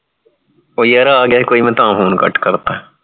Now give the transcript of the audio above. ਉਹ ਯਾਰ ਆ ਗਿਆ ਸੀ ਕੋਈ ਮੈਂ ਤਾਂ phone cut ਕਰਤਾ